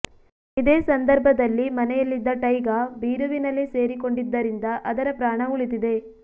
ಇದೇ ಸಂದರ್ಭದಲ್ಲಿ ಮನೆಯಲ್ಲಿದ್ದ ಟೈಗಾ ಬೀರುವಿನಲ್ಲಿ ಸೇರಿಕೊಂಡಿದ್ದರಿಂದ ಅದರ ಪ್ರಾಣ ಉಳಿದಿದೆ